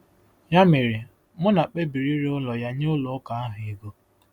Ya mere, Muna kpebiri ire ụlọ ya nye ụlọ ụka ahụ ego.